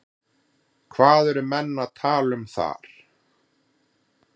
Hvað eru menn að tala um þar?